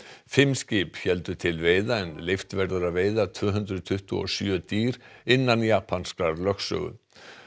fimm skip héldu til veiða en leyft verður að veiða tvö hundruð tuttugu og sjö dýr innan japanskrar lögsögu